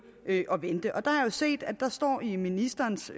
at vente og der har jeg jo set at der står i ministerens